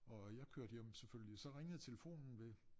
Og jeg kørte hjem selvfølgelig så ringede telefonen ved